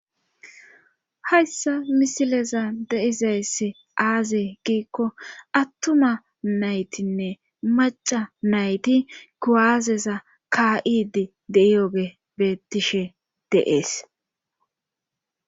Hayssa misileza deizaysse aazee giikko attuma naytinne maca nayti kuwaazeza ka7idi deiyooge beettishe deees